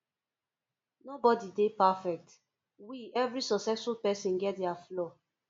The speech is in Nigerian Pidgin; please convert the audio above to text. nobody dey perfect we every successful person get their flaw